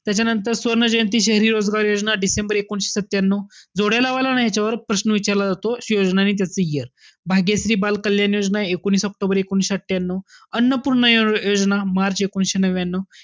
त्याच्यानंतर सुवर्ण जयंती शहरी रोजगार योजना डिसेंबर एकोणविशे सत्यान्यू. जोड्या लावा आलं ना ह्याच्यावर प्रश्न विचारला जातो. अशी योजना आणि त्याचं year. भाग्यश्री बालकल्याण योजना तीस ऑक्टोबर एकोणीशे सत्यान्यू, अन्नपूर्णा योजना मार्च एकोणीशे नव्यान्यू.